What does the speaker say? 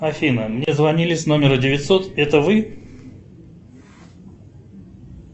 афина мне звонили с номера девятьсот это вы